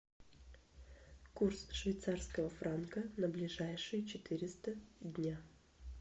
курс швейцарского франка на ближайшие четыреста дня